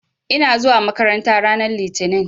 Ina zuwa makaranta ranar Litinin.